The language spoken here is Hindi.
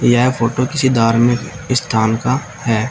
यह फोटो किसी धार्मिक स्थान का है।